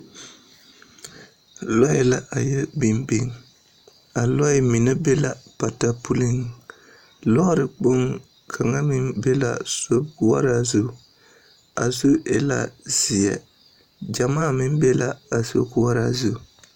Lͻԑ la a yԑ biŋ biŋ. A lͻԑ mine be la pata puliŋ. Lͻͻre kpoŋ kaŋa meŋ be la sokoͻraa zu, a zu e la zeԑ. Gyamaa meŋ be la a sokoͻraa zu.